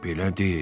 Belədi?